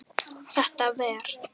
Þetta ver?